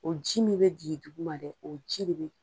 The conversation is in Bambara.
O ji min bɛ jigi duguma dɛ o ji de bɛ